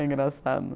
É engraçado.